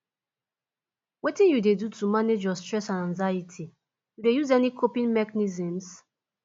wetin you dey do to manage your stress and anxiety you dey use any coping mechanisms